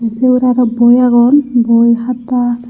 siyot arow boi agon boi hata.